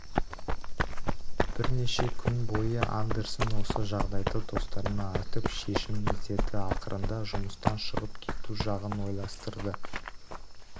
бірнеше күн бойы андерсон осы жағдайды достарына айтып шешім іздеді ақырында жұмыстан шығып кету жағын ойластырды